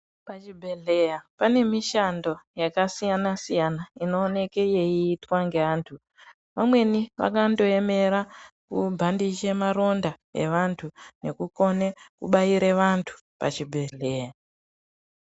Pazvibhedhlera pane mishando yakasiyana siyana inoonekwa yeitwa nevantu vamweni vakandoemera kubhandija maronda evanhu nekukona kubaira vantu pachibhedhlera.